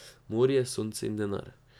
Morje, sonce in denar.